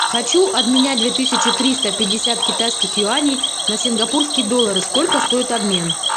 хочу обменять две тысячи триста пятьдесят китайских юаней на сингапурские доллары сколько стоит обмен